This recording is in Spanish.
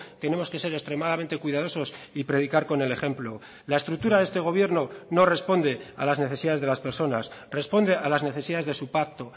tenemos que ser extremadamente cuidadosos y predicar con el ejemplo la estructura de este gobierno no responde a las necesidades de las personas responde a las necesidades de su pacto